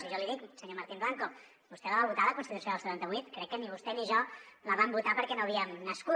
i jo li dic senyor martín blanco vostè la va votar la constitució del setanta vuit crec que ni vostè ni jo la vam votar perquè no havíem nascut